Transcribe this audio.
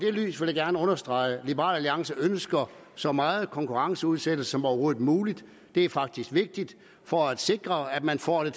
vil jeg gerne understrege at liberal alliance ønsker så meget konkurrenceudsættelse som overhovedet muligt det er faktisk vigtigt for at sikre at man får det